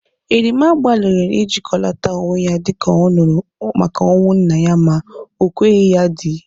Erimma gbaliri ijikọlata onwe ya dịka ọ nụrụ maka ọnwụ nna ya ma o kweghi ya edị.